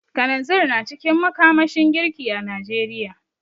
Kananzir na cikin makamashin girki a Najeriya.